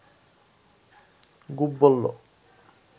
গুপ বলল